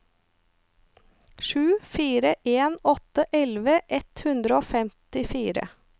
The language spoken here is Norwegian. sju fire en åtte elleve ett hundre og femtifire